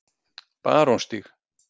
Barónsstíg